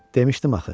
Demişdim axı.